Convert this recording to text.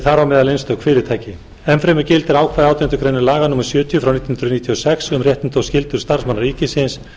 þar á meðal einstök fyrirtæki enn fremur gildir ákvæði átjándu grein laga númer sjötíu nítján hundruð níutíu og sex um réttindi og skyldur starfsmanna ríkisins